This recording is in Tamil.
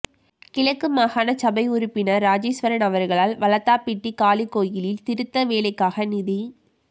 கிழக்கு மாகாண சபை உறுப்பினர் இராஜேஸ்வரன் அவர்களால் வளத்தாப்பிட்டி காளி கோயிலின் திருத்த வேலைக்காக நிதி